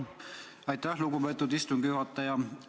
Aitäh, lugupeetud istungi juhataja!